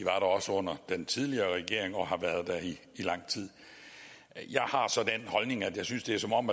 også under den tidligere regering og har været der i lang tid jeg har så den holdning at jeg synes det er som om